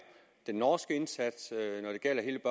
den norske indsats når det gælder hele